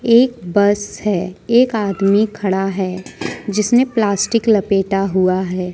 एक बस है एक आदमी खड़ा है जिसने प्लास्टिक लपेटा हुआ है।